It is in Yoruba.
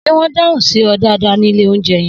Sé wõn dáhun sí õ dàdá ní ìlé ounjé yen?